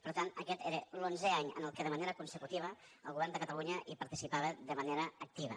per tant aquest era l’onzè any en què de manera consecutiva el govern de catalunya hi participava de manera activa